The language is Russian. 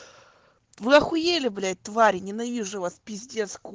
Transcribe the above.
вы ахуели блять твари ненавижу вас пиздец ко